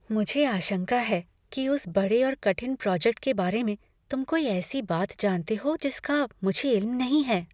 मुझे आशंका है कि उसे बड़े और कठिन प्रोजेक्ट के बारे में तुम कोई ऐसी बात जानते हो जिसका मुझे इल्म नहीं है।